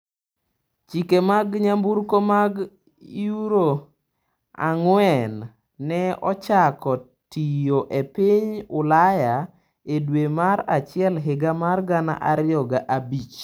Chike mag nyamburko mag Euro ang'wen ne ochako tiyo e piny Ulaya e dwe mar achiel higa mar gana ariyo gi abich.